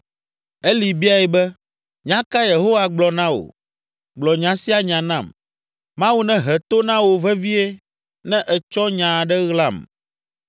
Eli biae be, “Nya kae Yehowa gblɔ na wò? Gblɔ nya sia nya nam; Mawu nehe to na wò vevie ne ètsɔ nya aɖe ɣlam!”